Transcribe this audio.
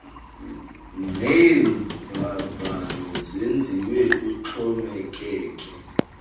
neemvavanyo zenziwe kuxhomekeke